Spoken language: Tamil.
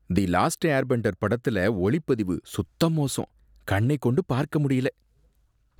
"தி லாஸ்ட் ஏர்பெண்டர்" படத்துல ஒளிப்பதிவு சுத்த மோசம், கண்ணை கொண்டு பார்க்க முடியல.